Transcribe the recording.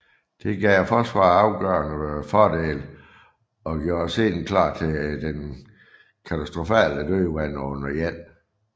Det gav forsvarerne afgørende fordele og gjorde scenen klar til det katastrofale dødvande under 1